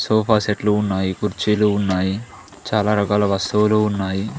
Sofa సెట్లు ఉన్నాయి కుర్చీలు ఉన్నాయి చాలా రకాల వస్తువులు ఉన్నాయి.